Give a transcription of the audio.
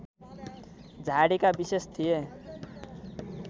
झाडीका विशेष थिए